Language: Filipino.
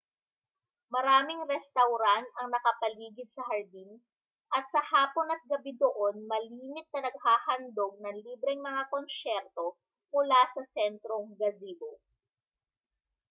maraming restawran ang nakapaligid sa hardin at sa hapon at gabi doon malimit na naghahandog ng libreng mga konsyerto mula sa sentrong gazebo